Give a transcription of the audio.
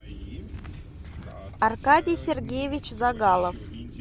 аркадий сергеевич загалов